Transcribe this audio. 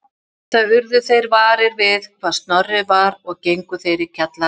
Eftir það urðu þeir varir við hvar Snorri var og gengu þeir í kjallarann